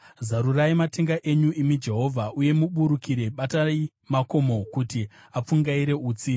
Zarurai matenga enyu, imi Jehovha, uye muburuke; batai makomo, kuti apfungaire utsi.